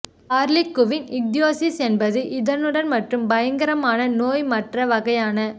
ஹார்லிகுவின் ichthyosis என்பது இதனுடன் மற்றும் பயங்கரமான நோய் மற்ற வகையான